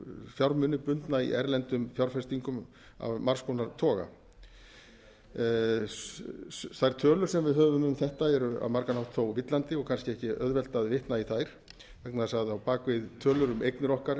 fjármuni bundna í erlendum fjárfestingum af margs konar toga þær tölur sem við höfum um þetta eru á margan hátt þó villandi og kannski ekki auðvelt að vitna í þær vegna þess að á bak við tölur um eignir okkar